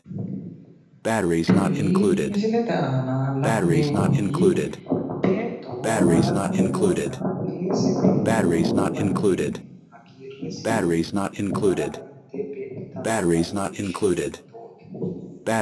Tini misilete aana la'neemmoti beetto maarraqqanteewoonna Gc te yinanni hagiirrese maatete ledo beeqqitannota leellishshanno